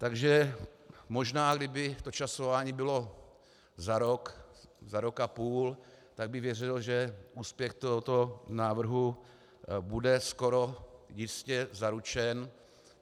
Takže možná kdyby to časování bylo za rok, za rok a půl, tak bych věřil, že úspěch tohoto návrhu bude skoro jistě zaručen.